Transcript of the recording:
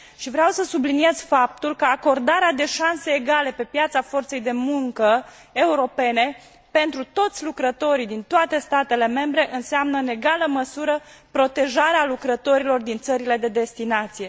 Și vreau să subliniez faptul că acordarea de șanse egale pe piața forței de muncă europene pentru toți lucrătorii din toate statele membre înseamnă, în egală măsură, protejarea lucrătorilor din țările de destinație.